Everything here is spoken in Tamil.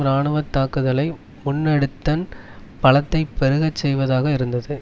இராணுவ தாக்குதலை முன்னெடுத்தன் பலத்தை பெருகச் செய்வதாக இருந்தது